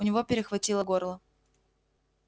у него перехватило горло